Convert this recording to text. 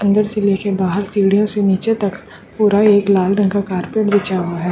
अंदर से लेके बाहर सीढ़ियों से नीचे तक पूरा एक लाल रंग का कार्पेट बीच हुआ है।